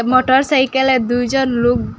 মটর সাইকেলে দুইজন লুগ --